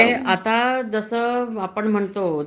म्हणजे आता जस आपण म्हणतो